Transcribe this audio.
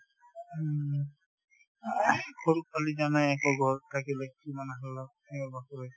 সৰু পোৱালি জানায়ে আকৌ ঘৰত থাকিলে